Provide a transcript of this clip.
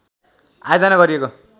आयोजना गरिएको